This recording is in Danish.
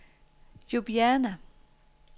Ljubljana